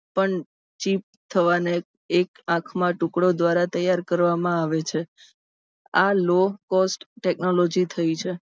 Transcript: પણ ચેપ થવાને એક આંખનો ટુકડો તૈયાર કરવામાં આવે છે. આ low cost technology થઇ છે.